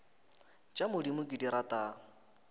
tša modimo ke di rata